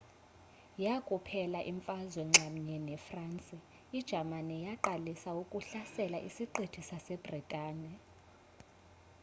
yakuphela imfazwe nxamnye nefransi ijamani yaqalisa ukuhlasela isiqithi sasebritane